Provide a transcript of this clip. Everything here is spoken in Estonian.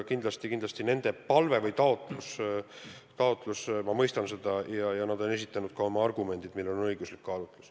Kindlasti ma nende palvet ja taotlust mõistan ja nad on esitanud ka oma argumendid, millel on õiguslik põhi.